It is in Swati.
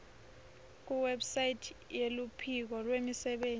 kuwebsite yeluphiko lwemisebenti